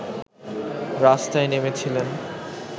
রাস্তায় নেমেছিলেন